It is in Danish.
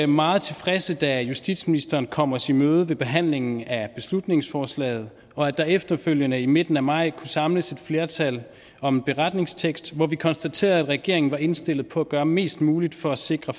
meget tilfredse da justitsministeren kom os i møde med behandlingen af beslutningsforslaget og at der efterfølgende i midten af maj kunne samles flertal om en beretningstekst hvori vi konstaterede at regeringen var indstillet på at gøre mest muligt for at sikre